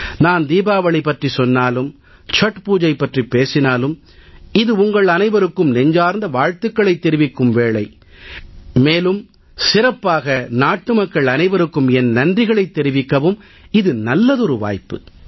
நான் தீபாவளி பற்றிச் சொன்னாலும் சத்பூஜை பற்றிப் பேசினாலும் இது உங்கள் அனைவருக்கும் நெஞ்சார்ந்த வாழ்த்துக்களைத் தெரிவிக்கும் வேளை மேலும் சிறப்பாக நாட்டுமக்கள் அனைவருக்கும் என் நன்றிகளைத் தெரிவிக்கவும் இது நல்லதொரு வாய்ப்பு